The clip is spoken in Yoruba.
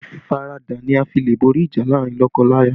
Ìfaradà ni a fi le borí ìjà láàrin lọ́kọ-láya